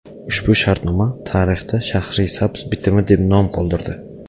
Ushbu shartnoma tarixda Shahrisabz bitimi deb nom qoldirdi.